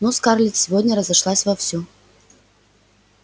ну скарлетт сегодня разошлась вовсю